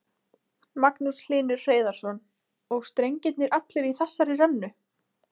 Magnús Hlynur Hreiðarsson: Og strengirnir allir í þessari rennu?